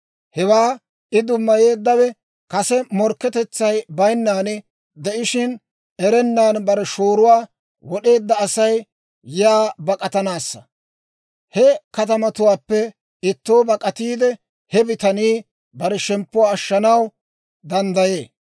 Hewaa I dummayeeddawe kase morkketetsay bayinnan de'ishshin, erennan, bare shooruwaa wod'eedda Asay yaa bak'atanaassa. He katamatuwaappe ittoo bak'atiide, he bitanii bare shemppuwaa ashshanaw danddayee.